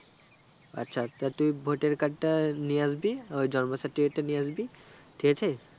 আচ্ছা আচ্ছা তুই voter card টা নিয়ে আসবি আর জন্ম certificate টা নিয়ে আসবি ঠিক আছে